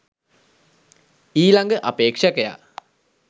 ඊළඟ අපේක්ෂකයා